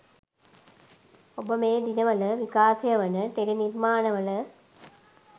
ඔබ මේ දිනවල විකාශයවන ටෙලි නිර්මාණවල